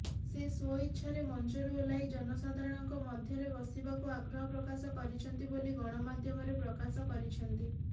ସେ ସ୍ୱଇଚ୍ଛାରେ ମଞ୍ଚରୁ ଓହ୍ଲାଇ ଜନସାଧାରଣଙ୍କ ମଧ୍ୟରେ ବସିବାକୁ ଆଗ୍ରହ ପ୍ରକାଶ କରିଛନ୍ତି ବୋଲି ଗଣମାଧ୍ୟମରେ ପ୍ରକାଶ କରିଛନ୍ତି